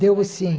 Deu o sim.